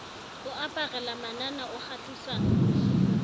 o aparela manana o kgahlisa